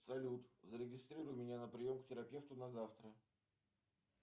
салют зарегистрируй меня на прием к терапевту на завтра